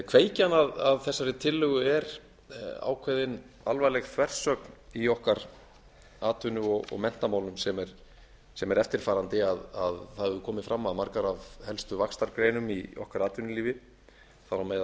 kveikjan að þessari tillögu er ákveðin alvarleg þversögn í okkar atvinnu og menntamálum sem er eftirfarandi að það hefur komið fram að margar af helstu vaxtargreinum í okkar atvinnulífi þar á